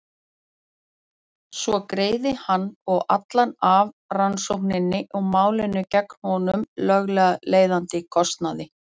Svo greiði hann og allan af rannsókninni og málinu gegn honum löglega leiðandi kostnað.